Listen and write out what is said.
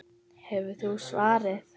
Hefur þú svarið?